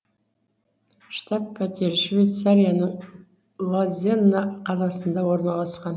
штаб пәтері швейцарияның лозанна қаласында орналасқан